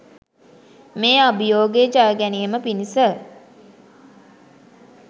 මේ අභියෝගය ජයගැනීම පිණිස